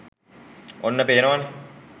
ඔන්න පේනවනේ